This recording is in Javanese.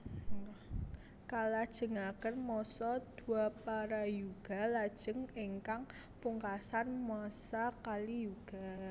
Kalajengaken masa Dwaparayuga lajeng ingkang pungkasan masa Kaliyuga